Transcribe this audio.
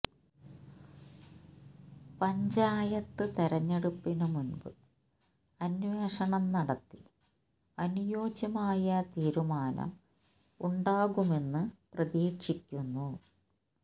പഞ്ചായത്ത് തെരഞ്ഞെടുപ്പിന് മുൻപ് അന്വേഷണം നടത്തി അനുയോജ്യമായ തീരുമാനം ഉണ്ടാകുമെന്ന് പ്രതീക്ഷിക്കുന്നു